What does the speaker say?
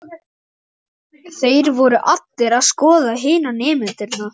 Þeir voru allir að skoða hina nemendurna.